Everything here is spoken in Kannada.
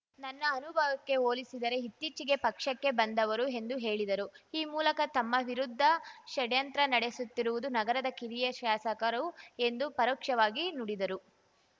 ನನ್ನ ಅನುಭವಕ್ಕೆ ಹೋಲಿಸಿದರೆ ಇತ್ತೀಚೆಗೆ ಪಕ್ಷಕ್ಕೆ ಬಂದವರು ಎಂದು ಹೇಳಿದರು ಈ ಮೂಲಕ ತಮ್ಮ ವಿರುದ್ಧ ಷಡ್ಯಂತ್ರ ನಡೆಸುತ್ತಿರುವುದು ನಗರದ ಕಿರಿಯ ಶಾಸಕರು ಎಂದು ಪರೋಕ್ಷವಾಗಿ ನುಡಿದರು